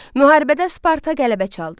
Müharibədə Sparta qələbə çaldı.